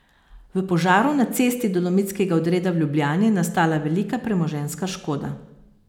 V požaru na Cesti Dolomitskega odreda v Ljubljani je nastala velika premoženjska škoda.